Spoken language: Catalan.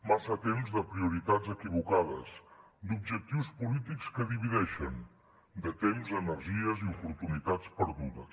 massa temps de prioritats equivocades d’objectius polítics que divideixen de temps energies i oportunitats perdudes